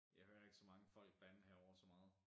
Jeg hører ikke så mange folk bande herovre så meget